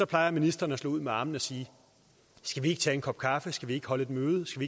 plejer ministeren at slå ud med armene og sige skal vi ikke tage en kop kaffe skal vi ikke holde et møde skal